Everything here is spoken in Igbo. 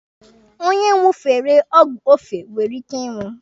Onye ṅụfere ọgwụ ofe nwere ike ịnwụ.